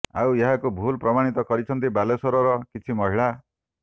ଆଉ ଏହାକୁ ଭୁଲ୍ ପ୍ରମାଣିତ କରିଛନ୍ତି ବାଲେଶ୍ୱରର କିଛି ମହିଳା